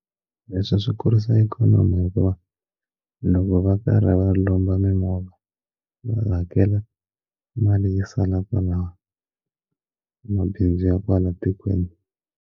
Leswi swi kurisa ikhonomi hikuva loko va karhi va lomba mimovha va hakela mali yi sala kwala mabindzu ya kwala tikweni.